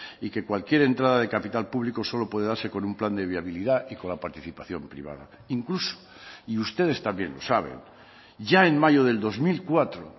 y que cualquier entrada de capital público solo puede darse con un plan de viabilidad y con la participación privada incluso y ustedes también lo saben ya en mayo del dos mil cuatro